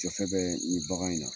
Jɔ fɛn fɛn nin bagan in na.